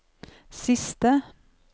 siste